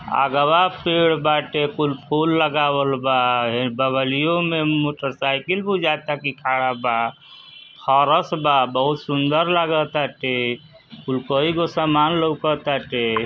अगवा पेड़ बाटे कुल फूल लगावल बा हे बगलियो में मोटरसाइकिल बुझाता की खड़ा बा। हरस बा बहुत सुन्दर लगाता। कुल कईगो सामान लउकताटे।